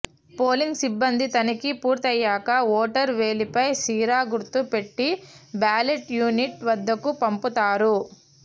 polling సిబ్బంది తనిఖీ పూర్తయ్యాక ఓటరు వేలిపై సిరా గుర్తు పెట్టి బ్యాలెట్ యూనిట్ వద్దకు పంపుతారు